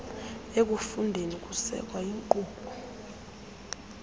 ekufundeni kusekwa iinkqubo